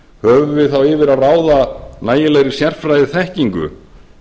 höfum við þá yfir að ráða nægilegri sérfræðiþekkingu